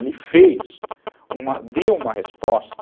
Ele fez... Uma, deu uma resposta...